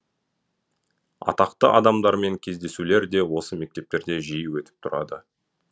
атақты адамдармен кездесулер де осы мектептерде жиі өтіп тұрады